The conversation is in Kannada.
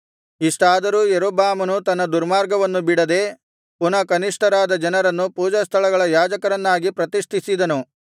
ಇಷ್ಟಾದರೂ ಯಾರೊಬ್ಬಾಮನು ತನ್ನ ದುರ್ಮಾರ್ಗವನ್ನು ಬಿಡದೆ ಪುನಃ ಕನಿಷ್ಠರಾದ ಜನರನ್ನು ಪೂಜಾಸ್ಥಳಗಳ ಯಾಜಕರನ್ನಾಗಿ ಪ್ರತಿಷ್ಠಿಸಿದನು